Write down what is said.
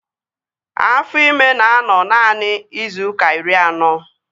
Afọ ịma na-anọ naanị izu ụka iri anọ